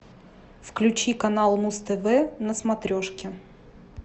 включи канал муз тв на смотрешке